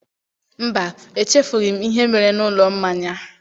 Mba, echefughị ​​m ihe mere n'ụlọ mmanya